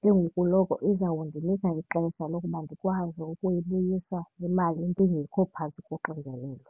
Ke ngoku noko izawundinika ixesha lokuba ndikwazi ukuyibuyisa le mali ndingekho phantsi koxinzelelo.